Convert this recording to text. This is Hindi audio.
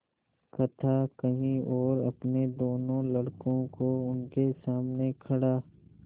कथा कही और अपने दोनों लड़कों को उनके सामने खड़ा